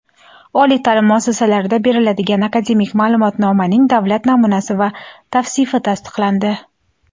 oliy taʼlim muassasalarida beriladigan akademik maʼlumotnomaning davlat namunasi va tavsifi tasdiqlandi.